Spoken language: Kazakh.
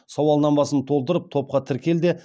сауалнамасын толтырып топқа тіркел де